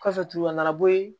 Kɔfɛ tuguni a nana bɔ yen